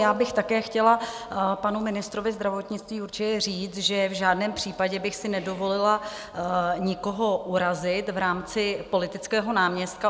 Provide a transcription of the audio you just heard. Já bych také chtěla panu ministrovi zdravotnictví určitě říct, že v žádném případě bych si nedovolila nikoho urazit v rámci politického náměstka.